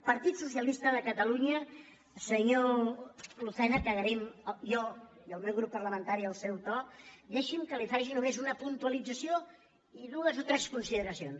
partit socialista de catalunya senyor lucena que agraïm jo i el meu grup parlamentari el seu to dei·xi’m que li faci només una puntualització i dues o tres consideracions